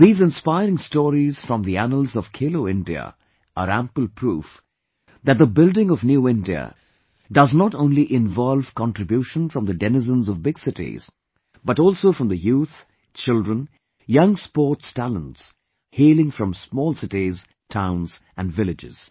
These inspiring stories from the annals of 'Khelo India,' are ample proof , that the building of New India does not only involve contribution from the denizens of big cities but also from the youth, children, young sports talents, hailing from small cities, towns and villages